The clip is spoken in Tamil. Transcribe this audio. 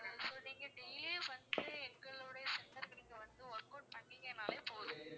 so நீங்க daily வந்து எங்களோட center க்கு நீங்க வந்து workout பண்ணீங்கனாலே போதும்